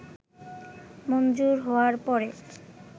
মঞ্জুর হওয়ার পরে